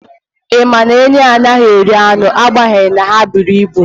Ị ma na enyí anaghị eri anụ agbanyeghị na ha buru ibu.